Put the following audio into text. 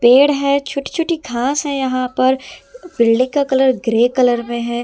पेड़ है छोटी छोटी घास है यहां पर बिल्डिंग का कलर ग्रे कलर में है।